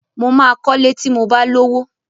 Mo máa kọlé ti mo bá lówó.